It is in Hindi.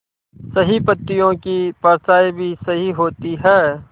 सही पत्तियों की परछाईं भी सही होती है